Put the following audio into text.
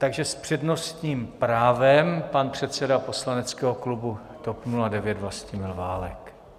Takže s přednostním právem pan předseda poslaneckého klubu TOP 09 Vlastimil Válek.